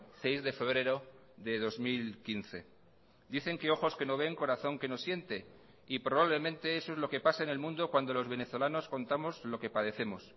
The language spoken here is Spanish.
seis de febrero de dos mil quince dicen que ojos que no ven corazón que no siente y probablemente eso es lo que pasa en el mundo cuando los venezolanos contamos lo que padecemos